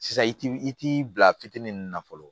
Sisan i ti i t'i bila fitinin na fɔlɔ